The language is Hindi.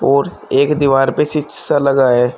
और एक दीवार पे शीशा लगा है।